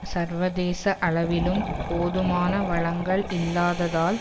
சர்வதேச அளவிலும் போதுமான வளங்கள் இல்லாததால்